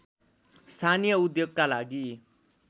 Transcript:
स्थानीय उद्योगका लागि